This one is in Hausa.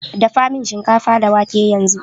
Dafamin shinkafa da wake yanzu